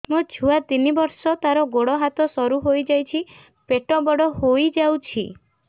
ମୋ ଛୁଆ ତିନି ବର୍ଷ ତାର ଗୋଡ ହାତ ସରୁ ହୋଇଯାଉଛି ପେଟ ବଡ ହୋଇ ଯାଉଛି